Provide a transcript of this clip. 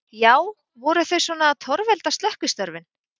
Já, voru þau svona að torvelda slökkvistörfin?